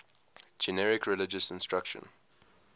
generic religious instruction